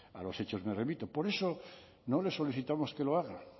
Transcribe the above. a los hechos me remito por eso no le solicitamos que lo haga